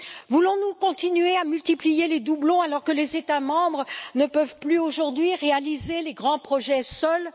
Voulons nous continuer à multiplier les doublons, alors que les États membres ne peuvent plus aujourd'hui réaliser les grands projets seuls?